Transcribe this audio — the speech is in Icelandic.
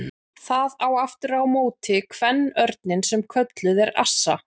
Það á aftur á móti kvenörninn sem kölluð er assa.